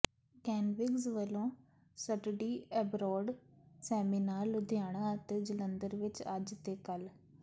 ਕੈਨਵਿੰਗਜ਼ ਵਲੋਂ study abroad seminar Ludhiana ਅਤੇ ਜਲੰਧਰ ਵਿਚ ਅੱਜ ਤੇ ਕੱਲ੍ਹ